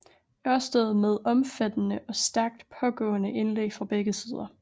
Ørsted med omfattende og stærkt pågående indlæg fra begge sider